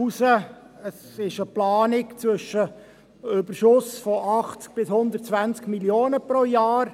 Es ist eine Planung mit einem Überschuss zwischen 80–120 Mio. Franken pro Jahr.